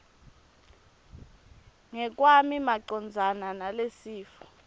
ngekwami macondzana nalesifo